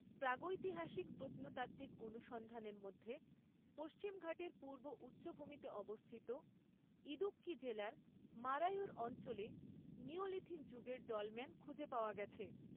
প্রাগৈতিহাসিক প্রত্নতাত্ত্বিক অনুসন্ধানের মধ্যে পশ্চিমঘাটের পূর্ব উচ্চভূমিতে অবস্থিত ইদুক্কি জেলার মারায়ুর অঞ্চলে নিওলিথিক যুগের ডলমেন খুঁজে পাওয়া গেছে।